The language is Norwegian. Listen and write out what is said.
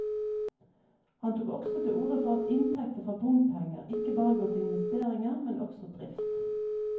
Han tok også til orde for at inntekter fra bompenger ikke bare går til investeringer, men også drift.